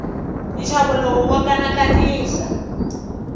nxavo lowu wa kanakanisa